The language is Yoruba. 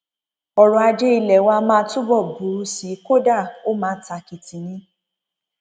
ọrọajé ilé wa máa túbọ burú sí i kódà ó máa tàkìtì ni